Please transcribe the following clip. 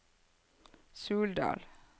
Suldal